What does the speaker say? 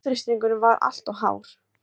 Blóðþrýstingurinn var líka alltof hár.